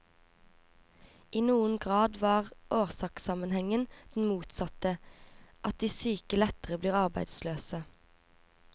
I noen grad var årsakssammenhengen den motsatte, at de syke lettere blir arbeidsløse.